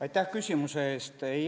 Aitäh küsimuse eest!